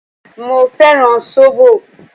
Mo fẹ́ràn sóbò.